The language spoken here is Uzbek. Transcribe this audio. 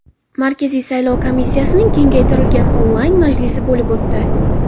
Markaziy saylov komissiyasining kengaytirilgan onlayn majlisi bo‘lib o‘tdi.